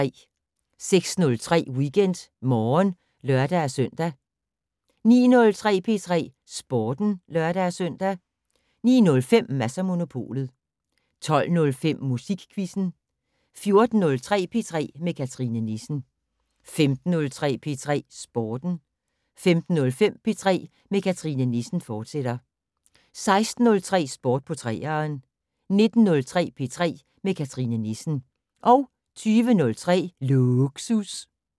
06:03: WeekendMorgen (lør-søn) 09:03: P3 Sporten (lør-søn) 09:05: Mads & Monopolet 12:05: Musikquizzen 14:03: P3 med Cathrine Nissen 15:03: P3 Sporten 15:05: P3 med Cathrine Nissen, fortsat 16:03: Sport på 3'eren 19:03: P3 med Cathrine Nissen 20:03: Lågsus